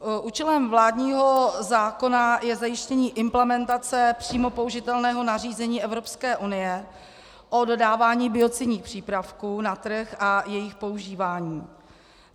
Účelem vládního zákona je zajištění implementace přímo použitelného nařízení Evropské unie o dodávání biocidních přípravků na trh a jejich používání.